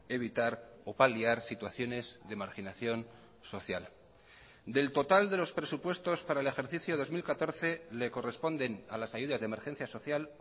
evitar o paliar situaciones de marginación social del total de los presupuestos para el ejercicio dos mil catorce le corresponden a las ayudas de emergencia social